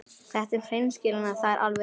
Þetta um hreinskilnina, það er alveg rétt.